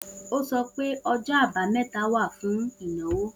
O sọ pé ọjọ abameta wa fún ìnáwó.